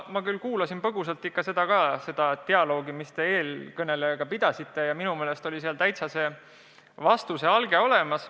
Ma küll kuulasin põgusalt dialoogi, mille te eelkõnelejaga pidasite, ja minu meelest oli seal vastuse alge täitsa olemas.